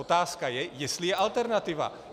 Otázka je, jestli je alternativa.